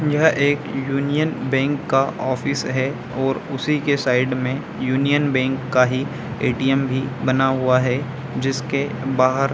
यह एक union bank का ऑफिस है और उसी के साइड में यूनियन बैंक का ही ए.टी.एम. भी बना हुआ है जिसके बाहर --